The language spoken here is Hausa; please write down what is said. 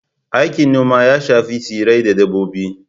Aikin noma ya shafi tsirrai da dabbobi.